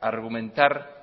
argumentar